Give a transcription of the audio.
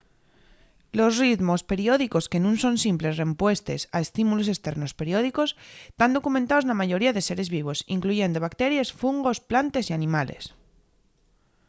los ritmos periódicos que nun son simples rempuestes a estímulos esternos periódicos tán documentaos na mayoría de seres vivos incluyendo bacteries fungos plantes y animales